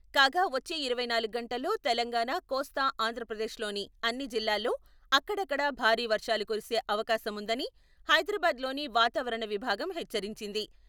కాగా వచ్చే ఇరవై నాలుగు గంటల్లో తెలంగాణా, కోస్తా ఆంధ్రప్రదేశ్ లోని అన్ని జిల్లాల్లో అక్కడక్కడ భారీ వర్షాలు కురిసే అవకాశముందని హైదరాబాద్ లోని వాతావరణ విభాగం హెచ్చరించింది.